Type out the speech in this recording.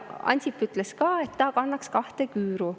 Ansip ütles ka, et ta kandma kahte küüru.